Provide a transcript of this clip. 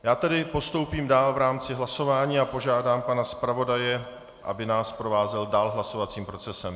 Já tedy postoupím dál v rámci hlasování a požádám pana zpravodaje, aby nás provázel dál hlasovacím procesem.